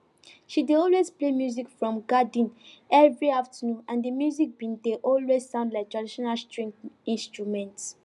she dey always play music for garden every afternoon and di music dey always sound like traditional string instrument